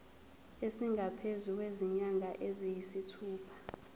esingaphezu kwezinyanga eziyisithupha